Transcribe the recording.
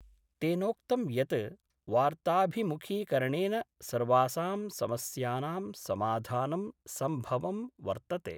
तेनोक्तं यत् वार्ताभिमुखीकरणेन सर्वासां समस्यानां समाधानं संभवं वर्तते।